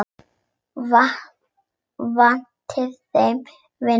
Vantaði þeim vinnu?